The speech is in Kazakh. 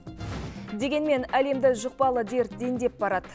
дегенмен әлемді жұқпалы дерт дендеп барады